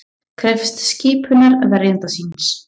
Krefst skipunar verjanda síns